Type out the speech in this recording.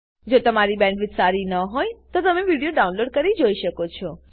જો તમારી પાસે સારી બેન્ડવિડ્થ ન હોય તો તમે વિડીયો ડાઉનલોડ કરીને જોઈ શકો છો